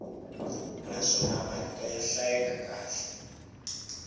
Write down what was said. naswona marito ya hlayeka kahle